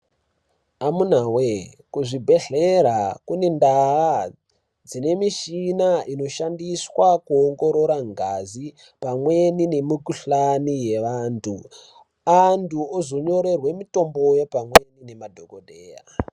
Amuna wee kuzvibhedhlere kune ndaa dzine mishina inoshandiswa kuongorora ngazi pamweni nemikuhlani yeanthu, anthu ozonyorerwa mitomboyo pamweni ngemadhokodheya.